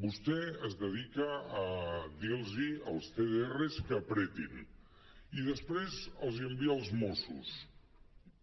vostè es dedica a dir·los als cdrs que apretin i després els hi envia els mossos